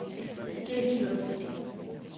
Gelsted